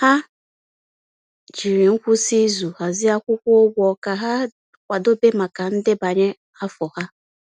Ha jiri ngwụsị izu hazie akwụkwọ ụgwọ ka ha kwadebe maka ndebanye afọ ha.